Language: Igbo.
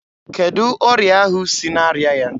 Kedụ ọrịa ahụ sị na-arịa ya?